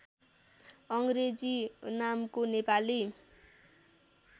अङ्ग्रेजी नामको नेपाली